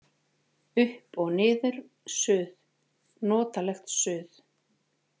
Upp og niður, suð, notalegt suð.